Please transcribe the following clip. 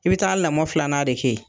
I bɛ taa lamɔ filanan de kɛ yen.